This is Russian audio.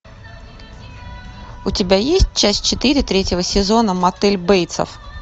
у тебя есть часть четыре третьего сезона мотель бейтсов